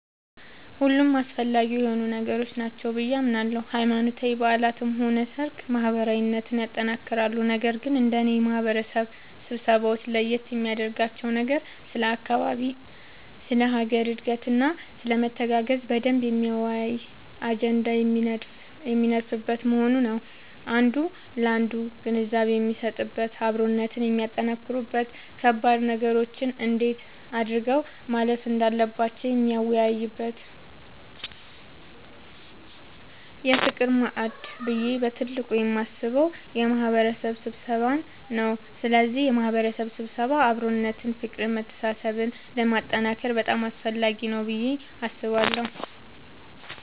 ሁሉም አስፈላጊ የሆኑ ነገሮች ናቸው ብዬ አምናለሁ ሃይማኖታዊ በዓላትም ሆነ ሰርግ ማህበራዊነትን ያጠነክራሉ ነገር ግን እንደኔ የማህበረሰብ ስብሰባወች ለየት የሚያደርጋቸው ነገር ስለ አካባቢ ስለ ሀገር እድገትና ስለመተጋገዝ በደንብ የሚያወያይ አጀንዳ የሚነደፍበት መሆኑ ነዉ አንዱ ላንዱ ግንዛቤ የሚሰጥበት አብሮነትን የሚያጠነክሩበት ከባድ ነገሮችን እንዴት አድርገው ማለፍ እንዳለባቸው የሚወያዩበት የፍቅር ማዕድ ብዬ በትልቁ የማስበው የማህበረሰብ ስብሰባን ነዉ ስለዚህ የማህበረሰብ ስብሰባ አብሮነትን ፍቅርን መተሳሰብን ለማጠንከር በጣም አስፈላጊ ነገር ነዉ ብዬ አስባለሁ።